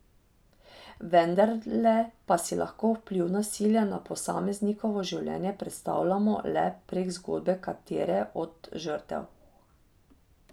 Vendarle pa si lahko vpliv nasilja na posameznikovo življenje predstavljamo le prek zgodbe katere od žrtev.